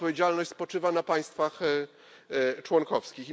Ta odpowiedzialność spoczywa na państwach członkowskich.